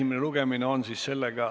Istungi lõpp kell 12.58.